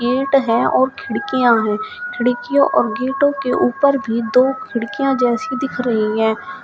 Gate हैं और खिड़कियां हैं खिड़कियों और गेटों के ऊपर भी दो खिड़कियां जैसे दिख रही हैं।